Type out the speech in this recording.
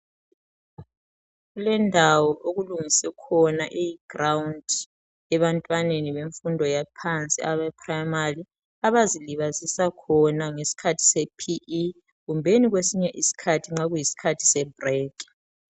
Kulendawo okulungiswe khona i"ground" ebantwaneni bemfundo yaphansi abe "primary" abazilibazisa khona ngesikhathi sePE kumbeni kwesinye isikhathi nxa kuyisikhathi se"break".